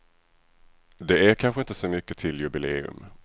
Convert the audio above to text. Det är kanske inte så mycket till jubileum.